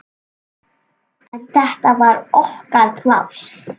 En þetta var okkar pláss.